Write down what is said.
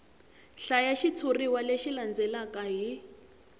hlaya xitshuriwa lexi landzelaka hi